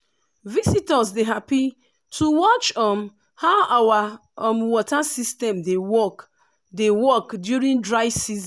visitors dey happy to watch um how our um water system dey work dey work during dry season.